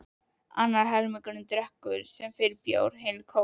Annar helmingurinn drekkur sem fyrr bjór, hinn kók.